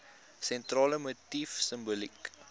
sentrale motief simboliek